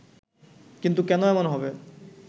কিন্তু কেন এমন হবে